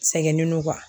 Sɛgɛnnen don